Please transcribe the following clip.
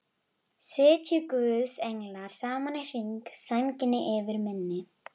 Sitji guðs englar saman í hring, sænginni yfir minni.